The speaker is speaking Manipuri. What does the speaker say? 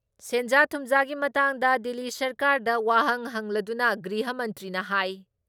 ꯁꯦꯟꯖꯥ ꯊꯨꯝꯖꯥꯒꯤ ꯃꯇꯥꯡꯗ ꯗꯤꯜꯂꯤ ꯁꯔꯀꯥꯔꯗ ꯋꯥꯍꯪ ꯍꯪꯂꯗꯨꯅ ꯒ꯭ꯔꯤꯍ ꯃꯟꯇ꯭ꯔꯤꯅ ꯍꯥꯏ